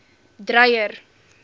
dreyer